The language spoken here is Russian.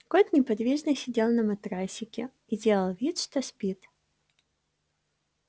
кот неподвижно сидел на матрасике и делал вид что спит